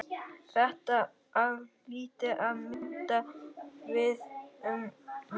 Þetta á til að mynda við um menn.